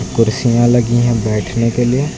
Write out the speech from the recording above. कुर्सियां लगी हैं बैठने के लिए।